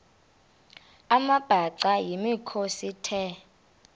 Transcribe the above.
amabhaca yimikhosi the